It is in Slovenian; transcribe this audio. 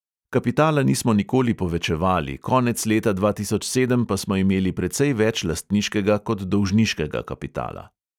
Kapitala nismo nikoli povečevali, konec leta dva tisoč sedem pa smo imeli precej več lastniškega kot dolžniškega kapitala.